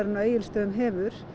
á Egilsstöðum hefur